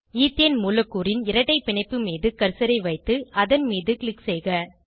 ethane மூலக்கூறின் இரட்டை பிணைப்பு மீது கர்சரை வைத்து அதன் மீது க்ளிக் செய்க